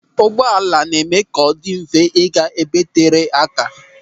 Ụgbọala na-eme ka ọ dị mfe ịga ebe tere aka.